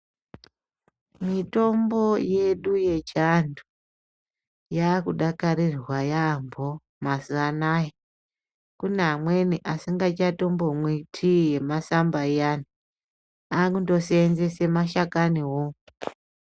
Mitombo yedu yechiantu yakudakarirwa yaambo mazuvanaya. Kune amweni asingachatombomwi tii yemasamba iyani akundoseenzese mashakani wo.